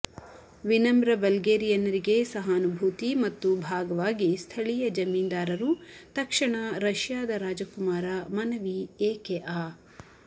ವಿನಮ್ರ ಬಲ್ಗೇರಿಯನ್ನರಿಗೆ ಸಹಾನುಭೂತಿ ಮತ್ತು ಭಾಗವಾಗಿ ಸ್ಥಳೀಯ ಜಮೀನ್ದಾರರು ತಕ್ಷಣ ರಷ್ಯಾದ ರಾಜಕುಮಾರ ಮನವಿ ಏಕೆ ಆ